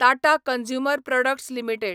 Tata consumer products limited